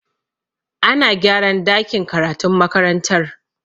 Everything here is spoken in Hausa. Ana gyaran dakin karatun makarantar.